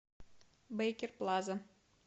бэйкер плаза